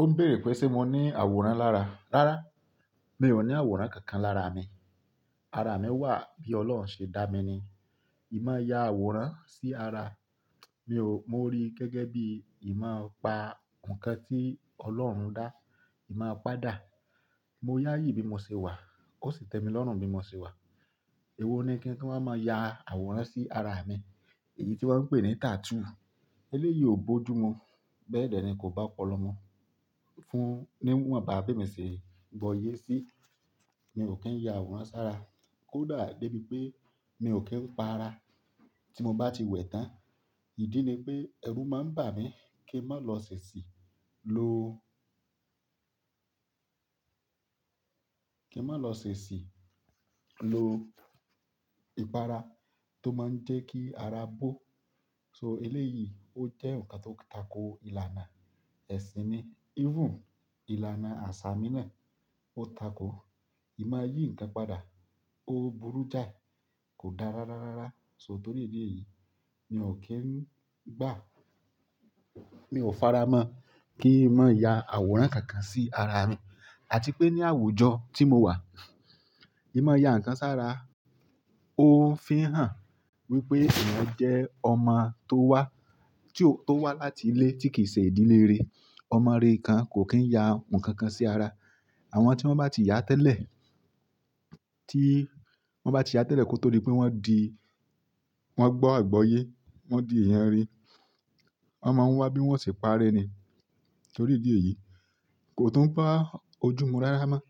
Ó ń béèrè pé ṣé mo ní àwòrán lára. Rárá, mi ò ní àwòrán kankan lára mi. Ara mi wà bí Ọlọ́run ṣe dá mi ni. Ì máa ya àwòrán sí ara, mi ò, mo rí gẹ́gẹ́ bí Ì máa pa nǹkan tí Ọlọ́run dá, Ì máa padà. Mo yá yìí bí mo ṣe wà, ó sì tẹ mi lọ́run bí mo ṣe wà. Èwo ni kí n tun wa máa ya àwòrán sí ara mi? Èyí tí wọ́n ń pè ní tattoo. Eléyìí ò bójú mu. Bẹ́ẹ̀ dẹ́ ni kò bá ọpọlọ mú. Fún, níwọ̀n ba bí emi ṣe bọ yé sí, mi ò kí ń ya àwòrán sára. Ko dà dé bí pé mi ò kí ń pa ara tí mo bá ti wẹ̀ tán. Ìdí ni pé ẹrú máa ń bà mí kí ń má lọ ṣèṣì lo, kí ń má lọ ṣèṣì lo ìpara tó máa ń jẹ́ kí ara bó. So eléyìí ó jẹ́ nǹkan tó tako ìlànà ẹ̀sìn ni. Even ìlànà àṣà mi náà ó tako. Ì máa yí nǹkan padà, ó burú jáì, kò dára rárárá. So torí ìdí èyí, mi ò kí ń gbà, mi ò fara mọ́ kí ń má ya àwòrán kankan sí ara mi. Àti pé ní àwùjọ tí mo wà, Ì máa ya ǹkan sára, ó ń fihàn wípé eeyan jẹ́ ọmọ tó wá, tí ó, tó wá láti ilé tí kì í ṣe ìdílé rere. Ọmọ rere kan kò kí ń ya ohun kankan sí ara. Àwọn tí wọ́n bá ti yá tẹ́lẹ̀, tí wọ́n bá ti yá tẹ́lẹ̀ kó tó dí pé wọ́n di, wọ́n gbọ́ ìgbọ́ye, wọ́n di èèyàn rere, wọ́n máa ń wá bí wọ́n ṣe paré ni. Torí ìdí èyí, kò tún bá ojú mu rára mọ́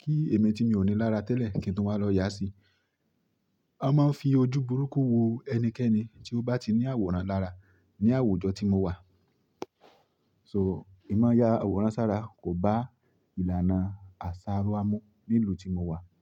kí èmi tí mi ò ní lára tẹ́lẹ̀ kí n tun wáa lọ yá sí. A máa ń fi ojú burúkú wo ẹnikẹ́ni tí ó bá ti ní àwòrán lára ní àwùjọ tí mo wà. So Ì máa ya àwòrán sára kò bá ìlànà àṣà wa mu ní ìlú tí mo wà.